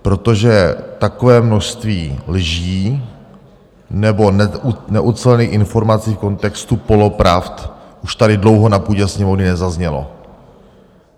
Protože takové množství lží nebo neucelených informací v kontextu polopravd už tady dlouho na půdě Sněmovny nezaznělo.